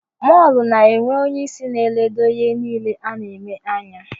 Mọlu na-enwe onyeisi na-eledo ihe niile a na-eme anya